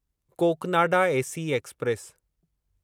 Cocanada AC express